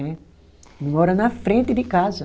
Né. Mora na frente de casa.